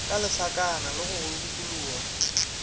ka lesakana go go dukologa